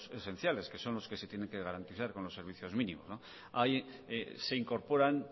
esenciales que son los que se tienen que garantizar con los servicios mínimos se incorporan